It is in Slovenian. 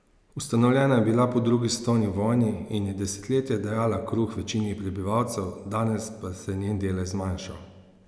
Ustanovljena je bila po drugi svetovni vojni in je desetletja dajala kruh večini prebivalcev, danes pa se je njen delež zmanjšal.